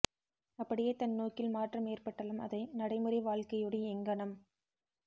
அப்படியே தன் நோக்கில் மாற்றம் ஏற்பட்டாலும் அதை நடைமுறை வாழ்க்கையோடு எங்கனம்